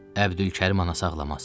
Əbdülkərim anası ağlamaz.